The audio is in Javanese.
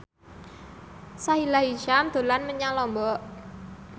Sahila Hisyam dolan menyang Lombok